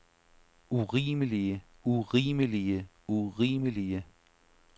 urimelige urimelige urimelige